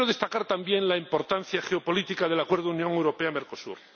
yo quiero destacar también la importancia geopolítica del Acuerdo Unión Europea Mercosur.